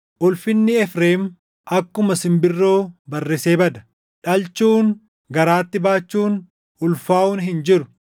Ulfinni Efreem akkuma simbirroo barrisee bada; dhalchuun, garaatti baachuun, ulfaaʼuun hin jiru.